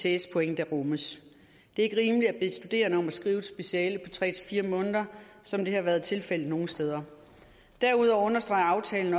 ects point der rummes det er ikke rimeligt at bede studerende om at skrive et speciale på tre fire måneder som det har været tilfældet nogle steder derudover understreger aftalen